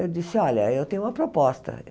Eu disse, olha, eu tenho uma proposta.